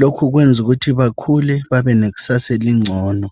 Lokhu kuyabafundisa ukuthi bakhule, babe lekusasa engcono.